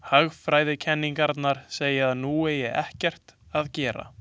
Hagfræðikenningarnar segja að nú eigi ekkert að gera.